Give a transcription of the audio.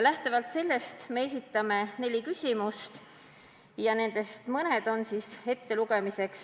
Lähtuvalt sellest esitame neli küsimust ja loen neist ühe ette.